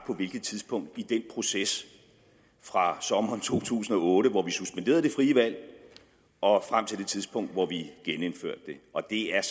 på hvilket tidspunkt i den proces fra sommeren to tusind og otte hvor vi suspenderede det frie valg og frem til det tidspunkt hvor vi genindførte det og det er